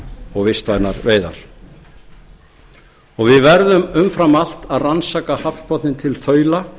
og vistvænar veiðar við verðum umfram allt að rannsaka hafsbotninn í þaula